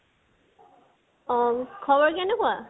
অ, খবৰ কেনেকুৱা